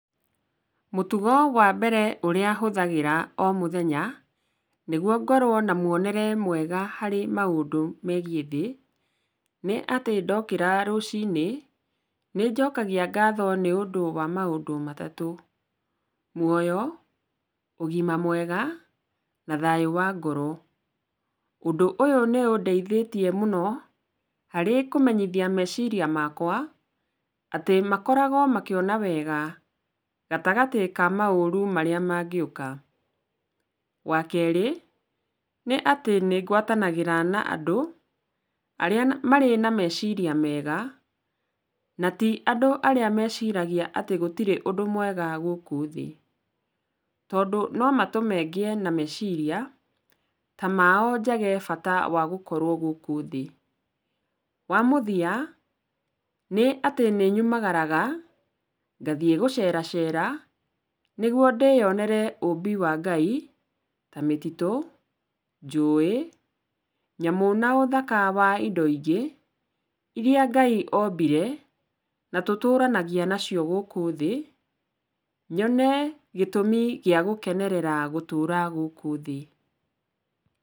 Mũtugo wa mbere ũrĩa hũthagĩra o mũthenya, nĩguo ngorwo na muonere mwega harĩ maũndũ megiĩ thĩ, nĩ atĩ ndokĩra rũcinĩ, nĩnjokagia ngatho nĩũndũ wa maũndũ matatũ, muoyo, ũgima mwega na thayũ wa ngoro. Ũndũ ũyũ nĩ ũndeithĩtie mũno harĩ kũmenyithia meciria makwa, atĩ makoragwo makĩona wega gatagatĩ ka maũru marĩa mangĩũka. Wa kerĩ, nĩ atĩ nĩngwatanagĩra na andũ arĩa marĩ na meciria mega, na ti andũ arĩa meciragia atĩ gũtirĩ ũndũ mwega gũkũ thĩ, tondũ no matũme ngĩe na meciria ta mao njage bata wa gũkorwo gũkũ thĩ. Wa mũthia, nĩ atĩ nĩnyumagaraga ngathiĩ gũceracera, nĩguo ndĩyonere ũmbi wa Ngai ta mĩtitũ, njũĩ, nyamũ na ũthaka wa indo ingĩ, irĩa Ngai ombire na tũtũranagia nacio gũkũ thĩ, nyone gĩtũmi gĩa gũkenerera gũtũra gũkũ thĩ.